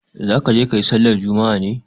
Za ka je ka yi sallar juma'a ne?